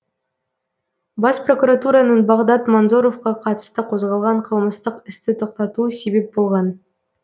бас прокуратураның бағдат манзоровқа қатысты қозғалған қылмыстық істі тоқтатуы себеп болған